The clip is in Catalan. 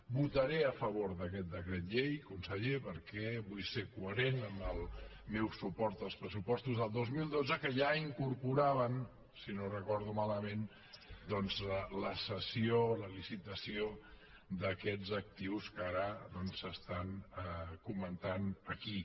votaré a favor d’aquest decret llei conseller perquè vull ser coherent amb el meu suport als pressupostos del dos mil dotze que ja incorporaven si no ho recordo malament doncs la cessió la licitació d’aquests actius que ara s’estan comentant aquí